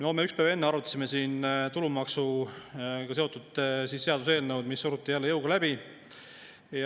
No me ükspäev enne arutasime siin tulumaksuga seotud seaduseelnõu, mis suruti jälle jõuga läbi.